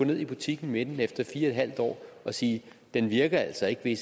ned i butikken med den efter fire en halv år og sige den virker altså ikke vil i